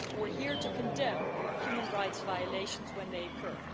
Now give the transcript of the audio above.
We are here to condemn human rights violations when they occur.